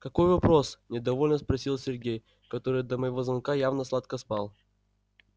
какой вопрос недовольно спросил сергей который до моего звонка явно сладко спал